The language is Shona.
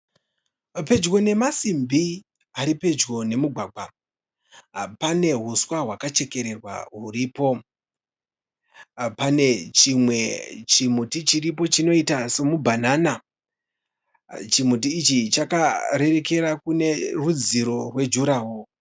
Pedyo nemasimbi ari pedyo nemugwagwa. Pane huswa hwakachekererwa huripo. Pane chimwe chimuti chiripo chinoita semubhanana. Chimuti ichi chakarerekera kune rudziro rwe juraho.